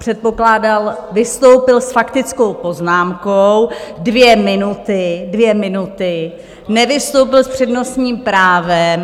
Předpokládal, vystoupil s faktickou poznámkou dvě minuty, dvě minuty, nevystoupil s přednostním právem.